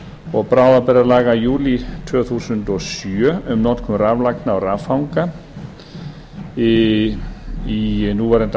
og bráðabirgðalaga í júlí tvö þúsund og sjö um notkun raflagna og raffanga í núverandi